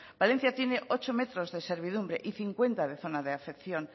valencia tiene ocho metros de servidumbre y cincuenta de zona de afección